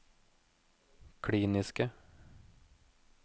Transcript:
kliniske